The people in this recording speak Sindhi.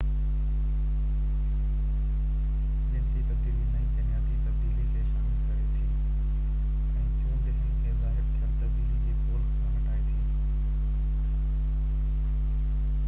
جنسي تبديلي نئي جينياتي تبديلين کي شامل ڪري ٿي ۽ چونڊ هن کي ظاهر ٿيل تبديلي جي پول کان هٽائي ٿي